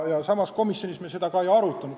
Me seda komisjonis ka ei arutanud.